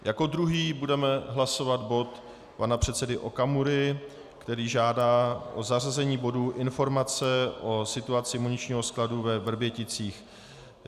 Jako druhý budeme hlasovat bod pana předsedy Okamury, který žádá o zařazení bodu Informace o situaci muničního skladu ve Vrběticích.